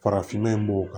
Farafinna b'o kan